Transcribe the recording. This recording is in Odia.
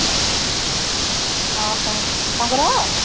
ଅହହୋ ତାଙ୍କର